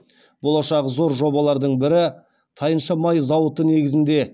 болашағы зор жобалардың бірі тайынша май зауыты негізінде